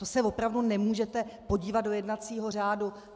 To se opravdu nemůžete podívat do jednacího řádu?